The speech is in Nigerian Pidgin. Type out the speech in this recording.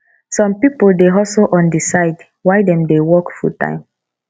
some pipo dey hustle on di side while dem dey work fulltime